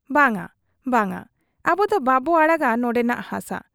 ᱵᱟᱝ ᱟ ᱵᱟᱝ ᱟ, ᱟᱵᱚᱫᱚ ᱵᱟᱵᱚ ᱟᱲᱟᱜᱟ ᱱᱚᱱᱰᱮᱱᱟᱜ ᱦᱟᱥᱟ ᱾